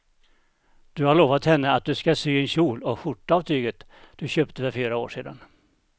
Du har lovat henne att du ska sy en kjol och skjorta av tyget du köpte för fyra år sedan.